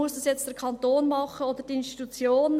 «Muss das jetzt der Kanton machen oder die Institution?